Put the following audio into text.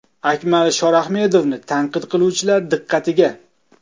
Akmal Shorahmedovni tanqid qiluvchilar diqqatiga.